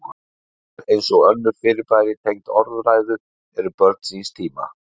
Brandarar, eins og önnur fyrirbæri tengd orðræðu, eru börn síns tíma.